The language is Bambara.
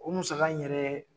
O musaka in yɛrɛ